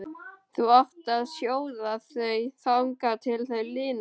Þú átt að sjóða þau þangað til þau linast.